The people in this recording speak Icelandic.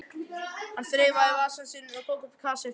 Hann þreifaði í vasann sinn og tók upp kassettu.